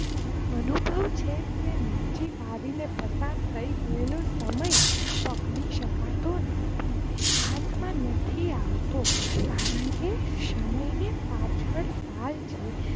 અનુભવ છે કે નજીક આવીને પસાર થઈ ગયેલો સમય પકડી શકતો નથી. હાથ માં નથી આવતો, કારણ કે સમય ને પાછળ તાલ છે.